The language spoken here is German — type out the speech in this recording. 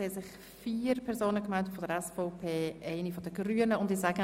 Es haben sich vier Personen der SVP und eine der Grünen gemeldet.